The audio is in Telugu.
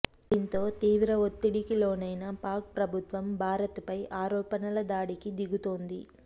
దీంతో తీవ్ర ఒత్తిడికి లోనైన పాక్ ప్రభుత్వం భారత్ పై ఆరోపణలదాడికి దిగుతోంది